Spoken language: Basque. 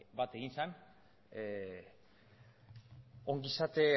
bat ongizate